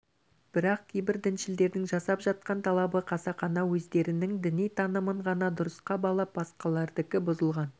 бірақ кейбір діншілдердің жасап жатқан талабы қасақана өздерінің діни танымын ғана дұрысқа балап басқалардікі бұзылған